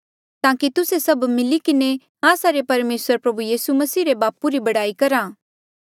ताकि तुस्से सभ मिली किन्हें आस्सा रे परमेसर प्रभु यीसू मसीह रे बापू री बड़ाई करा